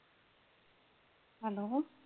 Hello.